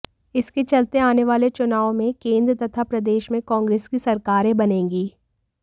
इसके चलते आने वाले चुनाव में केंद्र तथा प्रदेश में कांग्रेस की सरकारें बनेंगी